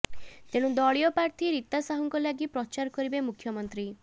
ତେଣୁ ଦଳୀୟ ପ୍ରାର୍ଥୀ ରୀତା ସାହୁଙ୍କ ଲାଗି ପ୍ରଚାର କରିବେ ମୁଖ୍ୟମନ୍ତ୍ରୀ